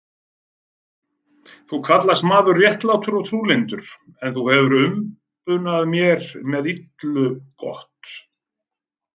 Þú kallast maður réttlátur og trúlyndur, en þú hefir umbunað mér illu gott.